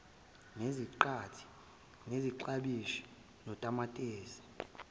neziqathi iklabishi utamatisi